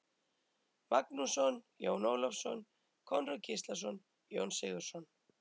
Magnússon, Jón Ólafsson, Konráð Gíslason, Jón Sigurðsson